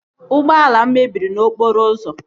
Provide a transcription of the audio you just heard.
Ụgbọala m mebiri n'okporo ụzọ